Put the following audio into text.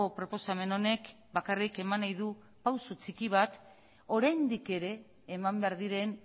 proposamen honek bakarrik eman nahi du pausu txiki bat oraindik ere eman behar diren